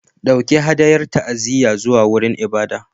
Ɗauki hadayar ta'aziyya zuwa wurin ibada.